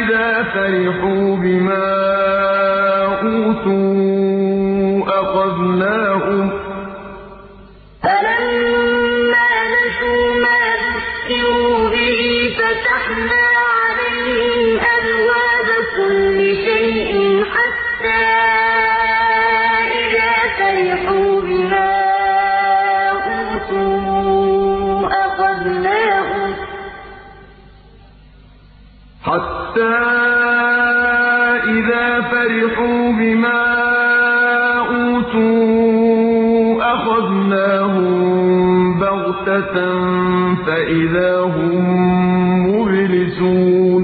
إِذَا فَرِحُوا بِمَا أُوتُوا أَخَذْنَاهُم بَغْتَةً فَإِذَا هُم مُّبْلِسُونَ فَلَمَّا نَسُوا مَا ذُكِّرُوا بِهِ فَتَحْنَا عَلَيْهِمْ أَبْوَابَ كُلِّ شَيْءٍ حَتَّىٰ إِذَا فَرِحُوا بِمَا أُوتُوا أَخَذْنَاهُم بَغْتَةً فَإِذَا هُم مُّبْلِسُونَ